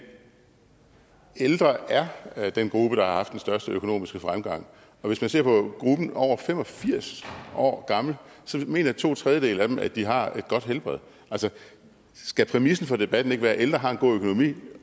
ældre er den gruppe der har haft den største økonomiske fremgang og hvis man ser på gruppen over fem og firs år gamle så mener to tredjedele af dem at de har et godt helbred altså skal præmissen for debatten ikke være at ældre har en god økonomi